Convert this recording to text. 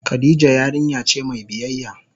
Khadijah yarinya ce mai biyyaya.